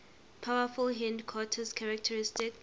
powerful hindquarters characteristic